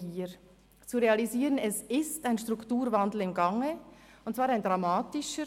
Es gilt zu realisieren, dass ein Strukturwandel im Gang ist und zwar ein dramatischer.